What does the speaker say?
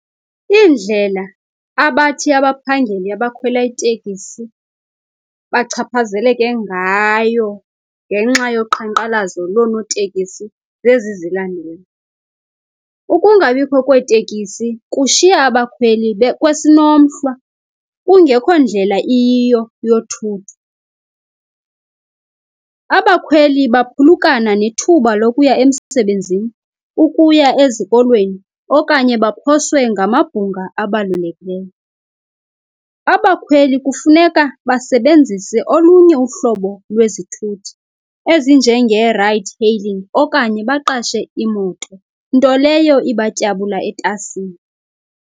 Iindlela abathi abaphangeli abakhwela itekisi bachaphazeleke ngayo ngenxa yoqhankqalazo loonotekisi ngezi zilandelayo, ukungabikho kweetekisi kushiya abakhweli bekwesinomhlwa kungekho ndlela iyiyo yothutho. Abakhweli baphulukana nethuba lokuya emsebenzini, ukuya ezikolweni okanye baphoswe ngamabhunga abalulekileyo. Abakhweli kufuneka basebenzisa olunye uhlobo lwezithuthi ezinjengee-ride-hailing okanye baqashe imoto, nto leyo ibatyabula etasini.